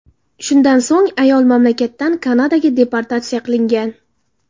Shundan so‘ng ayol mamlakatdan Kanadaga deportatsiya qilingan.